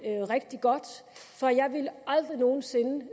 det rigtig godt for jeg ville aldrig nogen sinde